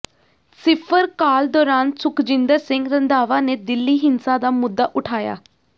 ਸਿਫਰ ਕਾਲ ਦੌਰਾਨ ਸੁਖਜਿੰਦਰ ਸਿੰਘ ਰੰਧਾਵਾ ਨੇ ਦਿੱਲੀ ਹਿੰਸਾ ਦਾ ਮੁੱਦਾ ਉਠਾਇਆ